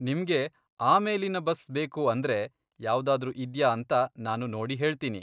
ನಿಮ್ಗೆ ಆಮೇಲಿನ ಬಸ್ ಬೇಕು ಅಂದ್ರೆ, ಯಾವ್ದಾದ್ರೂ ಇದ್ಯಾ ಅಂತ ನಾನು ನೋಡಿ ಹೇಳ್ತೀನಿ.